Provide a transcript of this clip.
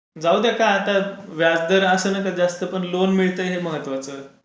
जाऊद्या का आता व्याजदर असं नका जास्त पण लोन मिळते हे महत्त्वाचं.